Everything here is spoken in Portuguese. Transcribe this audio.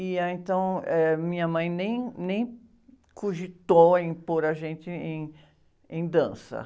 E aí, então, eh, minha mãe nem, nem cogitou em pôr a gente em, em dança.